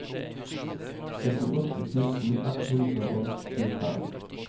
syttiåtte tusen ett hundre og tjuefem